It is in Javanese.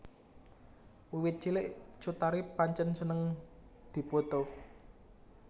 Wiwit cilik Cut Tari pancen seneng dipoto